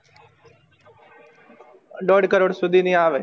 દોઢ crore સુધી ની આવે